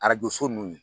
Arajo so nun